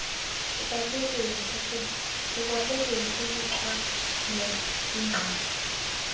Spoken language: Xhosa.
ekwabeleni ubuncwane igqala